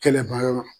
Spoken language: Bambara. Kɛlɛba yɔrɔ la